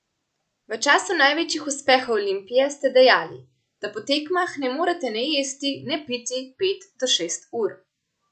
V času največjih uspehov Olimpije ste dejali, da po tekmah ne morete ne jesti ne piti pet do šest ur.